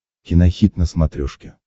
кинохит на смотрешке